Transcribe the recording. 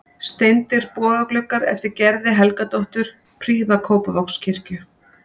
Steindir bogagluggar eftir Gerði Helgadóttur prýða Kópavogskirkju.